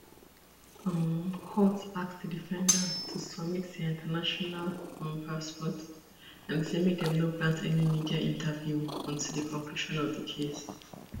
um court ask di defendants to submit dia international um passports and say make dem no grant any media interview until di conclusion of di case